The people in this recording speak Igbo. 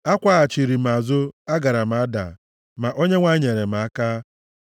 Akwaghachiri m azụ, agaara m ada, ma Onyenwe anyị nyere m aka.